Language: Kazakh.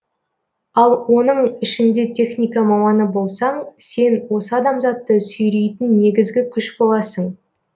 ал оның ішінде техника маманы болсаң сен осы адамзатты сүйрейтін негізгі күш боласың